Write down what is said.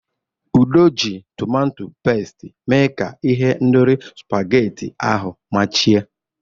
Udo ji tomato pesiti mee ka ihendori spaghetti ahu machie.